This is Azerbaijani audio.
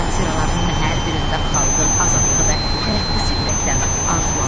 Satıralarının hər birində xalqın azadlığı və tərəqqisi ürəkdən arzulanırdı.